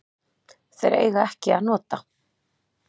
Þeir eiga ekki að nota